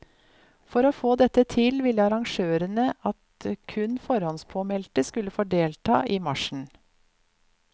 For å få dette til ville arrangørene at kun forhåndspåmeldte skulle få delta i marsjen.